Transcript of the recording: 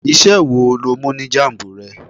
Iṣẹ́ wo lo mú ní jambu rẹ?